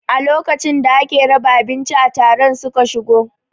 A lokacin da ake raba abinci a taron su ka shigo